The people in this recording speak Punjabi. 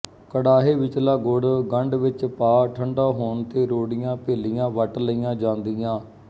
ਕੜਾਹੇ ਵਿਚਲਾ ਗੁੜ ਗੰਡ ਵਿੱਚ ਪਾ ਠੰਢਾ ਹੋੋਣ ਤੇ ਰੋੋੜੀਆਂਂ ਭੇਲੀਆ ਵੱਟ ਲਈਆਂ ਜਾਦੀਆਂ